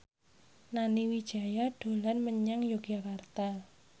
Nani Wijaya dolan menyang Yogyakarta